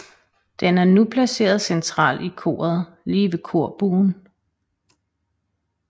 Den er nu placeret centralt i koret lige ved korbuen